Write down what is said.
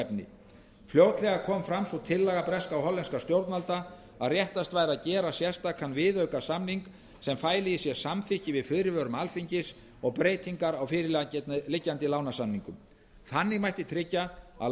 efni fljótlega kom fram sú tillaga breskra og hollenskra stjórnvalda að réttast væri að gera sérstaka viðaukasamninga sem fælu í sér samþykki við fyrirvörum alþingis og breytingar á fyrirliggjandi lánasamningum þannig mætti tryggja að